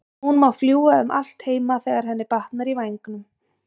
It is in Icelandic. Hún má fljúga um allt heima þegar henni batnar í vængnum.